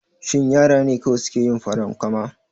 Shin yara ne kawai suke yin farankama?